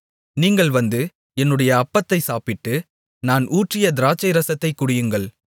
நீங்கள் வந்து என்னுடைய அப்பத்தைச் சாப்பிட்டு நான் ஊற்றிய திராட்சைரசத்தைக் குடியுங்கள்